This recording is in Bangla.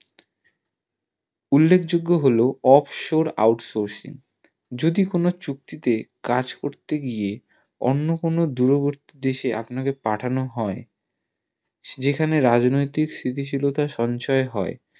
উল্লেখ যোগ্য হলো off source out sourcing যদি কোনো চুক্তি তে কাজ করতে গিয়ে অন্য কোনো দূরবর্তী দেশে আপনাকে পাঠানো হয় যেখানে রাজনৈতিক স্থিতি শীলতা সঞ্চয়ী হয়